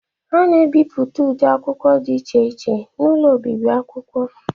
A na-ebipụta ụdị akwụkwọ di iche iche n'ụlọ obibi akwụkwọ.